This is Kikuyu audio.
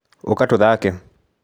ũka tũthake.